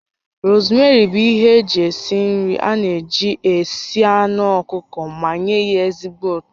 Rosmeri bụ ihe eji esi nri a na-eji esi anụ ọkụkọ ma nye ya ezigbo ụtọ